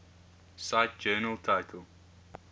cite journal title